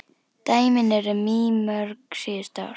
Dæmin eru mýmörg síðustu ár.